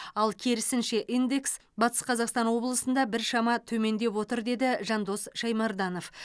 ал керісінше индекс батыс қазақстан облысында біршама төмендеп отыр деді жандос шаймарданов